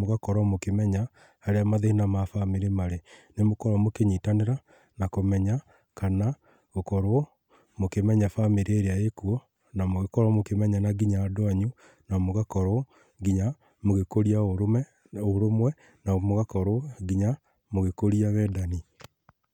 mũgakorwo mũkĩmenya harĩa mathĩna ma bamĩrĩ marĩ. Nĩmũkoroo mũkĩnyitanĩra na kũmenya kana gũkorwo mũkimenya bamĩrĩ ĩrĩa ĩkuo na mũgĩkorwo mũkĩmenyana nginya andũ anyu na mũgakorwo nginya mũgĩkũria ũrũme, ũrũmwe na mũgakorwo nginya mũgĩkũria wendani.